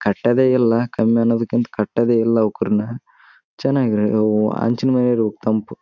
ಕಟ್ಟದೆ ಇಲ್ಲ ಕಮ್ಮಿ ಅನ್ನೋದಕ್ಕಿಂತ ಕಟ್ಟದೆ ಇಲ ಅವ್ ಕೂರ್ನ ಚೆನ್ನಾಗಿದೆ ಅವು ಅಂಚಿನ ಮ್ಯಾಗೆ ಇರಬೇಕು ತಂಪು.